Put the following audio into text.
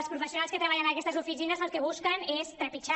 els professionals que treballen en aquestes oficines el que busquen és trepitjar